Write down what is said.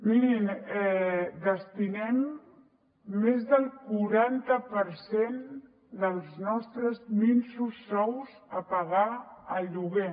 mirin destinem més del quaranta per cent dels nostres minsos sous a pagar el lloguer